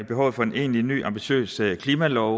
behovet for en egentlig ny ambitiøs klimalov